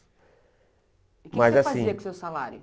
E o que que você fazia com o seu salário?